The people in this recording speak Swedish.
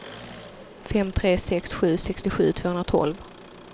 fem tre sex sju sextiosju tvåhundratolv